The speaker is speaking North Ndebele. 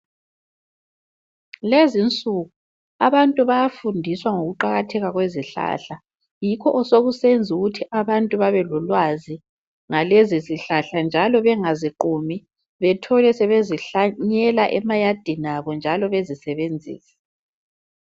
Lezinsuku abantu bayafundiswa ngokuqakatheka kwezihlahla. Yikho osokusenzukuthi abantu babelolwazi ngalezizihlahla njalo bengaziqumi bethole sebezihlanyela emayadini abo, njalo bezisebenzisa.